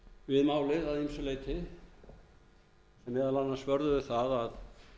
við málið að ýmsu leyti sem meðal annars vörðuðu það að